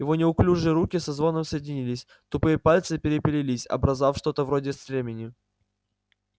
его неуклюжие руки со звоном соединились тупые пальцы переплелись образовав что-то вроде стремени